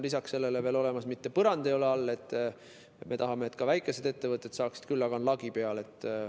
Lisaks sellele ei ole seal mitte põrandat all, sest me tahame, et ka väikesed ettevõtted seda saaksid, aga on lagi peal.